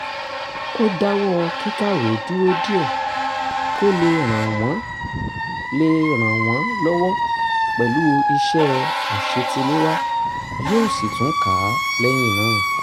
ó dáwọ́ kíkàwé dúró díẹ̀ kó lè ràn wọ́n lè ràn wọ́n lọ́wọ́ pẹ̀lú iṣẹ́ àṣetiléwá yóò sì tún kà á lẹ́yìn náà